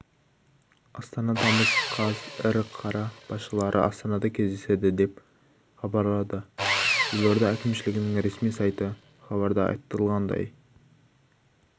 астана тамыз қаз ірі қала басшылары астанада кездеседі деп хабарлады елорда әкімшілігінің ресми сайты хабарда айтылғандай